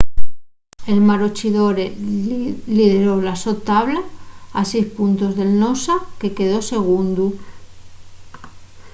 el maroochydore lideró la so tabla a seis puntos del noosa que quedó segundu